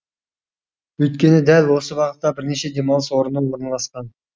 өйткені дәл осы бағытта бірнеше демалыс орны орналасқан